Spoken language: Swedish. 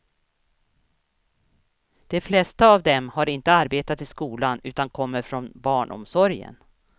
De flesta av dem har inte arbetat i skolan utan kommer från barnomsorgen.